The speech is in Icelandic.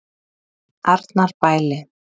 Arnarbæli